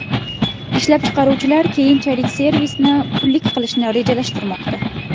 Ishlab chiqaruvchilar keyinchalik servisni pullik qilishni rejalashtirmoqda.